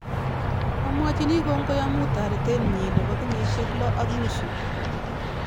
Amwachini kongoi amu taretet nyi nebo kenyisyek lo ak nusu